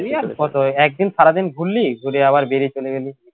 একদিন সারাদিন ঘুরলি ঘুরে আবার বেরিয়ে চলে গেলি